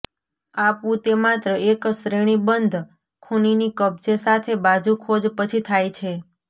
આપવું તે માત્ર એક શ્રેણીબંધ ખૂનીની કબજે સાથે બાજુ ખોજ પછી થાય છે